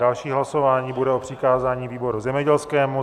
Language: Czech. Další hlasování bude o přikázání výboru zemědělskému.